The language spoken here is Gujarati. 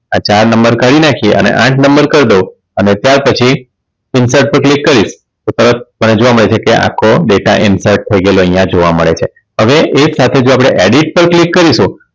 આ ચાર નંબર કાઢી નાખ્યા અને આઠ કરી દવ અને ત્યાર પછી Infert પર Click કરીશ તો તરત તને જોવા મળે છે કે આખો data enter થઈ ગયેલો અહીંયા જોવા મળે છે હવે એક સાથે જો આપણે edit પર Click કરીશું